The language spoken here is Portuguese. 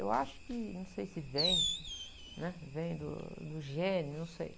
Eu acho que, não sei se vem, né? Vem do, do gene, não sei.